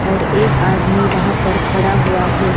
और एक आदमी वहां पर खड़ा हुआ है।